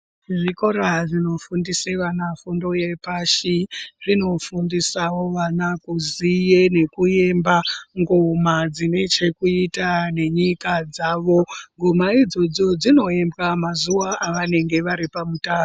Zvikora zvinofundisa vana fundo yepashi, zvinofundisewo vana kuziye nekuyemba ngoma dzinechekuita nenyika dzawo. Ngoma idzodzo dzinoimbwa mazuwa avanenge varipamutaro.